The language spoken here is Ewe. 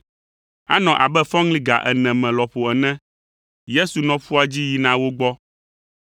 Anɔ abe fɔŋli ga ene me lɔƒo ene la, Yesu zɔ ƒua dzi yina wo gbɔ.